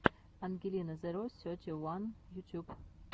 ангелина зеро сети уан ютюб